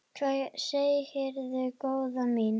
Hvað segirðu góða mín?